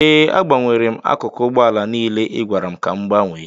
Ee, agbanwere m akụkụ ụgbọ ala niile ị gwara m ka m gbanwee